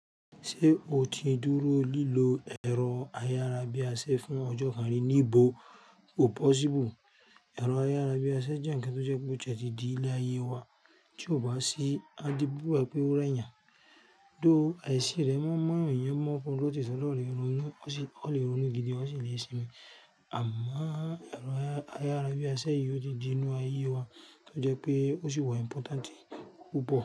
Ṣé o ti dúró lílo ẹ̀rọ ayárabíàṣe fún ọjọ́ kan rí? Níbo! O possible. Ẹ̀rọ ayárabíàṣẹ jẹ́ ǹkan tó jẹ́ pé ó jẹ́ ti di ilé ayé wa tí ó bá sí, a di bíbà pé ó rẹ́yà. Dá àìsí rẹ̀ mọ́, mọ́ ènìyàn mọ́ ọkùnrin tó ti sọ̀rọ̀ lé ọrùn, ó sì lè ronú gidi ó sì ní ìsinmi. Àmọ́ ẹ̀rọ ayárabíàṣẹ yìí ó di inú ayé wa tó jẹ́ pé ó sì wọ́ important púpọ̀